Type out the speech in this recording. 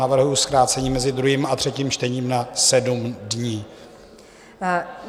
Navrhuji zkrácení mezi druhým a třetím čtením na 7 dní.